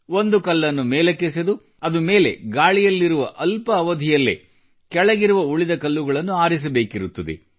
ಒಂದು ಕಲ್ಲನ್ನು ಮೇಲಕ್ಕೆ ಎಸೆದು ಅದು ಮೇಲೆ ಗಾಳಿಯಲ್ಲಿರುವ ಅಲ್ಪ ಅವಧಿಯಲ್ಲೇ ಕೆಳಗ್ಗೆ ಬಿದ್ದಿರುವ ಉಳಿದ ಕಲ್ಲುಗಳನ್ನು ಆರಿಸಬೇಕಿರುತ್ತದೆ